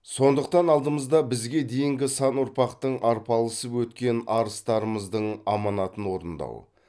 сондықтан алдымызда бізге дейінгі сан ұрпақтың арпалысып өткен арыстарымыздың аманатын орындау